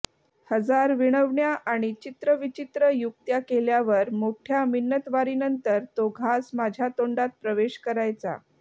हजार विनवण्या आणि चित्रविचित्र युक्त्या केल्यावर मोठ्या मिन्नतवारीनंतर तो घास माझ्या तोंडात प्रवेश करायचा